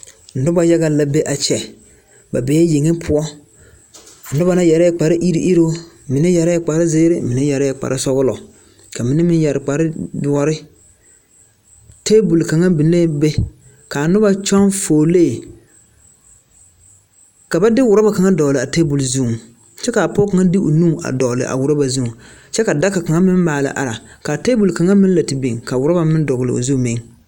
Noba yaga la be a kyɛ, ba bee yeŋe poɔ, a noba na yarɛɛ kpare iri iruu, mine yɛrɛɛ kpare sɔglɔ, mine yɛrɛɛ kpare shirk, ka mine meŋ yɛre kpare doɔre, 'table' kaŋa biŋ lee be, ka a noba kyɔŋ fuolee, ka ba de ɔreba kaŋa dɔgle a 'table' zu kyɛ ka pɔge kaŋa de o nuu dɔgle a ɔreba zu kyɛ a daka kaŋa meŋ maale are, ka a 'table' kaŋa meŋ la te biŋ, ka ɔreba meŋ dɔgle o zu meŋ.